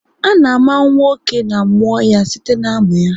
A na-àmà nwa oké na amụọ ya site na-amụ ya